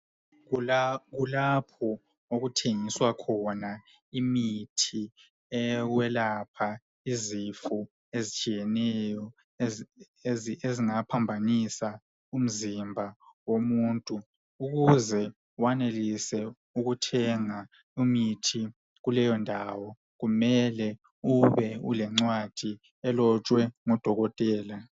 kulapho okuthengiswa khona imithi yekwelapha izifo ezitshiyeneyo ezingaphambanisa umzimba womuntu, ukuze wanelise ukuthenga imithi kuleyo ndawo, kumele ube ulencwadi elotshwe ngodokothela.